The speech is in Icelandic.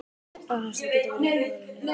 Rafhleðsla getur verið jákvæð eða neikvæð.